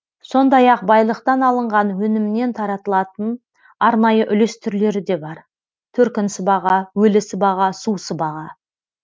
сондай ақ байлықтан алынған өнімнен таратылатын арнайы үлес түрлері де бар төркін сыбаға өлі сыбаға су сыбаға